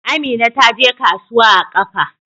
Amina ta je kasuwa a ƙafa.